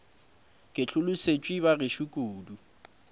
ke hlolosetšwe ba gešo kudu